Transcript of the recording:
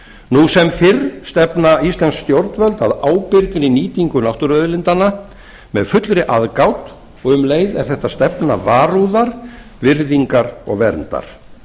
nú sem fyrr stefna íslensk stjórnvöld að ábyrgri nýtingu náttúruauðlindanna með fullri aðgát og um leið er þetta stefna varúðar virðingar og verndar